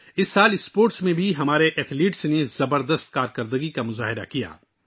اس سال ہمارے کھلاڑیوں نے کھیلوں میں بھی شاندار کارکردگی کا مظاہرہ کیا